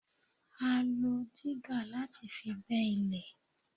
A lo dígà láti fi gbẹ́ ilẹ̀.